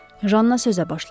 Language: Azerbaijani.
Janna sözə başladı.